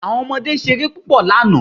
Àwọn ọmọdé ṣeré púpọ̀ lánàá.